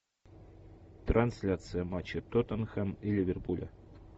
трансляция матча тоттенхэм и ливерпуля